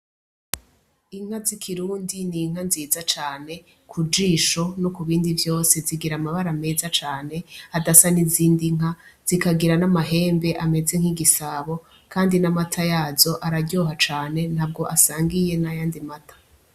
Inka z'ikirundi n'inka nziza cane kujisho nokubindi vyose, zigir'amabara meza cane adasa n'izindi nka, zikagira n'amahembe ameze nk'igisabo, kandi n'amata yazo araryoha cane ntabwo asangiye n'ayandi mata.